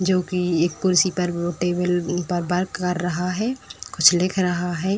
जो की एक कुर्सी पर वो टेबल पर वर्क कर रहा है कुछ लिख रहा है।